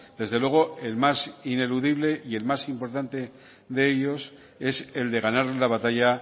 desde luego el más ineludible y el más importante de ellos es el de ganar la batalla